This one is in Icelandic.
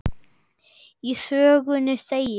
Í sögunni segir